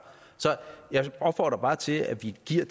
så jeg opfordrer bare til at vi giver